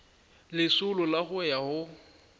lesolo la go ya go